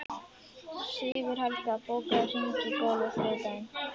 Sigurhelga, bókaðu hring í golf á þriðjudaginn.